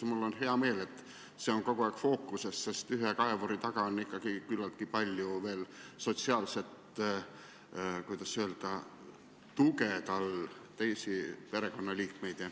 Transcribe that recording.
Mul on hea meel, et see on kogu aeg fookuses, sest ühe kaevuri taga on ikkagi küllaltki palju veel sotsiaalset, kuidas öelda, tuge, ma pean silmas teisi perekonnaliikmeid.